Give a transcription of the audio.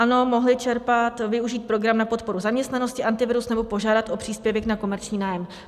Ano, mohli čerpat, využít program na podporu zaměstnanosti Antivirus nebo požádat o příspěvek na komerční nájem.